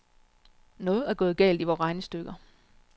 Noget er gået galt i vore regnestykker.